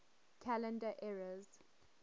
calendar eras